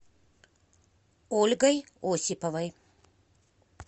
ольгой осиповой